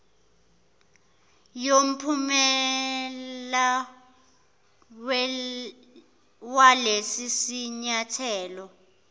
yomphumela walesi sinyathelo